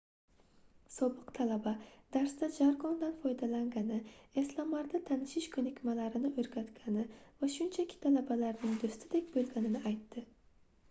sobiq talaba darsda jargondan foydalangani eslamarda tanishish koʻnikmalarini oʻrgatgani va shunchaki talabalarning doʻstidek boʻlganini aytdi